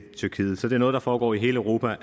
tyrkiet så det er noget der foregår i hele europa